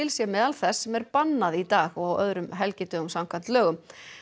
sé meðal þess sem er bannað í dag og á öðrum helgidögum samkvæmt lögum